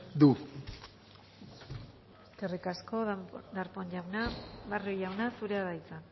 du eskerrik asko darpón jauna barrio jauna zurea da hitza